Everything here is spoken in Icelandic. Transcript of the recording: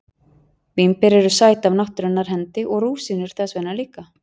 Vínber eru sæt af náttúrunnar hendi og rúsínur þess vegna líka.